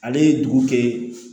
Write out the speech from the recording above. Ale ye dugu kɛ